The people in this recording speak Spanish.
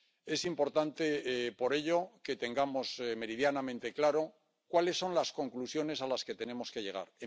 Es importante, por ello, que tengamos meridianamente claro cuáles son las conclusiones a las que tenemos que llegar.